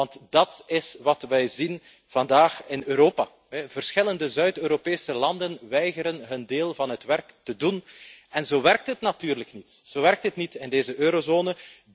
Want dat is wat we zien vandaag in Europa verschillende Zuid Europese landen weigeren hun deel van het werk te doen en zo werkt het natuurlijk niet in deze eurozone.